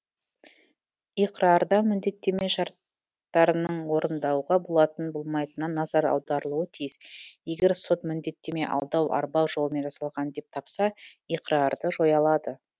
иқрарда міндеттеме шарт тарының орындауға болатын болмайтынына назар аударылуға тиіс егер сот міндеттеме алдау арбау жолымен жасалған деп тапса иқрарды жоя алады